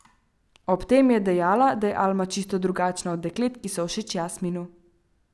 Ob tem je dejala, da je Alma čisto drugačna od deklet, ki so všeč Jasminu.